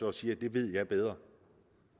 og siger det ved jeg bedre